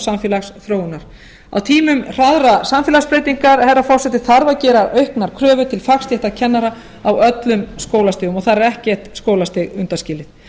samfélagsþróunar á tímum hraðrar samfélagsbreytingar herra forseti þarf að gera auknar kröfur til fagstétta kennara á öllum skólastigum og þar er ekkert skólastig undanskilið